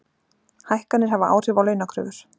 Hækkanir hafa áhrif á launakröfur